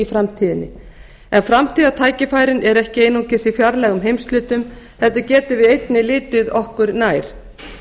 framtíðinni en framtíðartækifærin eru ekki einungis í fjarlægum heimshlutum heldur getum við einnig litið okkur nær